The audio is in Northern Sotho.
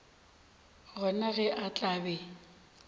gona ge a tla be